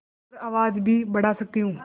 और आवाज़ भी बढ़ा सकती हूँ